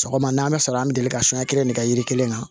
Sɔgɔma n'a bɛ fɛ an bɛ deli ka suɲɛ kelen ne kɛ yiri kelen na